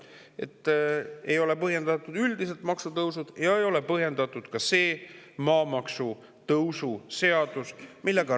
Ei ole põhjendatud üldiselt maksutõusud ja ei ole põhjendatud ka see maamaksu tõusu seadus.